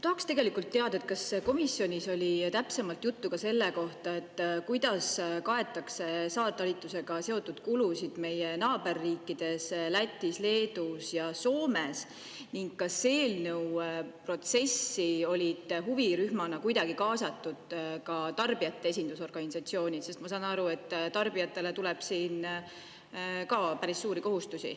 Tahaks tegelikult teada, kas komisjonis oli täpsemalt juttu ka selle kohta, kuidas kaetakse saartalitlusega seotud kulusid meie naaberriikides Lätis, Leedus ja Soomes ning kas eelnõu protsessi olid huvirühmana kuidagi kaasatud ka tarbijate esindusorganisatsioonid, sest ma saan aru, et tarbijatele tuleb siin ka päris suuri kohustusi.